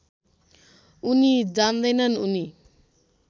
उनी जान्दैनन् उनी